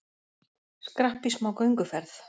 Skrapp í smá gönguferð